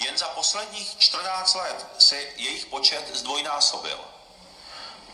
Jen za posledních 14 let se jejich počet zdvojnásobil.